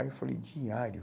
Aí eu falei, diário?